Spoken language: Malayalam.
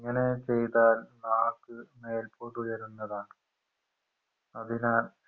ഇങ്ങനെ ചെയ്താൽ നാക്ക് മേൽപ്പോട്ടുയരുന്നതാണ് അതിനാൽ